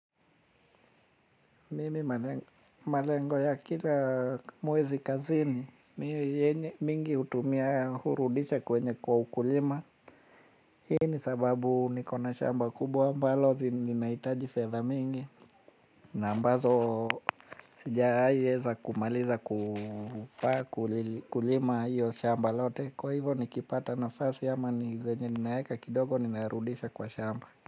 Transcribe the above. Mimi malengo ya kila mwezi kazini mingi hutumia hurudisha kwenye kwa ukulima. Hii ni sababu niko na shamba kubwa ambalo linaitaji fedha mingi na ambazo sijawahi weza kumaliza kulima hilo shamba lote. Kwa hivo nikipata nafasi ama zenye ninaweka kidogo ninarudisha kwa shamba.